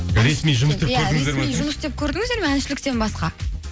ресми жұмыс істеп көрдіңіздер ме иә ресми жұмыс істеп көрдіңіздер ме әншіліктен басқа